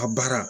A baara